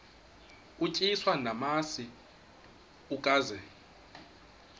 utyiswa namasi ukaze